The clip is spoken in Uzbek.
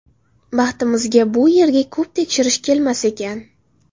Baxtimizga bu yerga ko‘p tekshirish kelmas ekan.